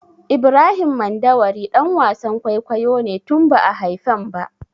Ibrahim Mandawari ɗan wasan kwaikwayo ne tun ba'a haifen ba.